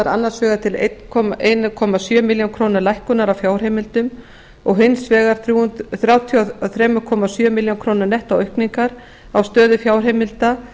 annars vegar til einn komma sjö milljónir króna lækkunar á fjárheimildum og hins vegar þrjátíu og þrjú komma sjö milljónir króna nettóaukningar á stöðum fjárheimilda